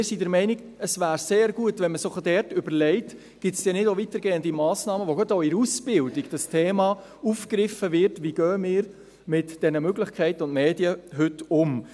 Wir sind der Meinung, es wäre sehr gut, wenn man sich diesbezüglich überlegte, ob es denn nicht weitergehende Massnahmen gäbe, mit welchen gerade auch in der Ausbildung das Thema «Wie gehen wir heute mit den Möglichkeiten und Medien um?» aufgegriffen wird.